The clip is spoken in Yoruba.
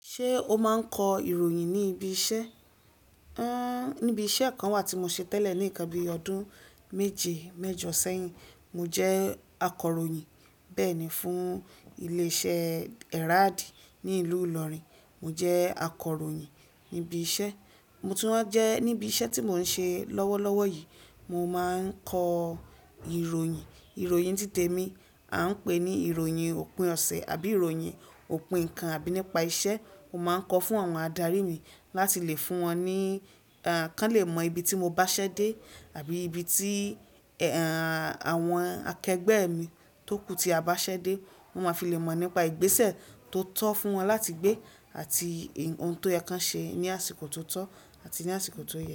Ṣé o máa ń kọ ìròyìn ní ibi iṣẹ́? Níbi iṣẹ́ kan wà tí mo ṣe tẹ́lẹ̀ ní nkan bíi ọdún méje, mẹ́jọ sẹ́yìn, mo jẹ́ akọ̀ròyìn. Bẹ́ẹ̀ni fún ilé iṣẹ́ Herald ní ìlú Ìlọrin, mo jẹ́ akọ̀ròyìn níbi iṣẹ́. Mo tún wáa jẹ́ níbi iṣẹ́ tí mò ń ṣe lọ́wọ́lọ́wọ́ yìí, mo máa ń kọ ìròyìn. Ìròyìn tí tèmi a ń pè ní ìròyìn òpin ọ̀sẹ̀ àbí ìròyìn òpin nǹkan àbí nípa iṣẹ́. Mo máa ń kọ fún àwọn adarí mi láti lè fún wọn ní, k'an lè mọ ibi tí mo bá ṣ'ẹ́dé àbí ibi tí àwọn akẹgbẹ́ mi tókù tí a bá ṣ'ẹ́dé. Wọ́n máa fi lè mọ̀ nípa ìgbésẹ̀ tó tọ́ fún wọn láti gbé àti ohun tó yẹ k'ọ́n ṣe ní àsìkò tó tọ́ àti ní àsìkò tó yẹ.